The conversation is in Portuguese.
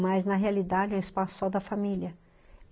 Mas, na realidade, é um espaço só da família.